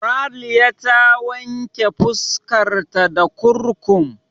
Ralya ta wanke fuskar ta da kurkum.